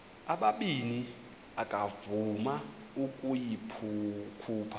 ubabini akavuma ukuyikhupha